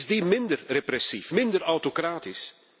Is het minder repressief, minder autocratisch?